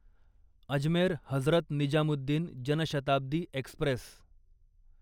Ajmer Hazrat Nizamuddin Jan Shatabdi Express